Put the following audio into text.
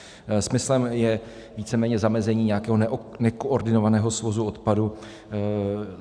Smyslem je víceméně zamezení nějakého nekoordinovaného svozu odpadů.